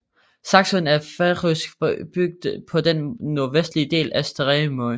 Saksun er en færøsk bygd på den nordvestlige del af Streymoy